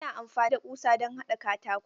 Ana amfani da ƙusa don haɗa katako.